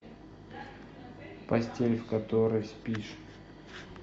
постель в которой спишь